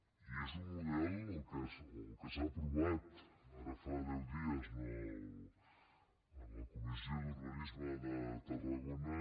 i és un model el que s’ha aprovat ara fa deu dies en la comissió d’urbanisme de tarragona